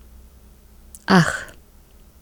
Ah.